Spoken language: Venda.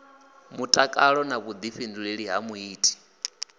mutakalo na vhuḓifhinduleli ha muiti